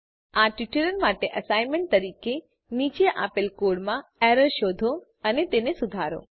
આ ટ્યુટોરીયલ માટે એસાઈનમેંટ તરીકે નીચે આપેલ કોડમાં એરર શોધો અને તેને સુધારો